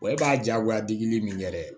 Wa e b'a diyagoya dili min yɛrɛ ye